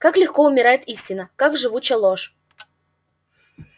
как легко умирает истина как живуча ложь